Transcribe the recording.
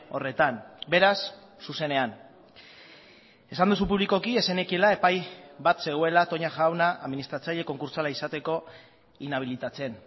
horretan beraz zuzenean esan duzu publikoki ez zenekiela epai bat zegoela toña jauna administratzaile konkurtsala izateko inabilitatzen